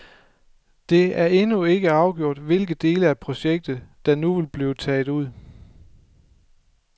Det er endnu ikke afgjort, hvilke dele af projektet der nu vil blive taget ud.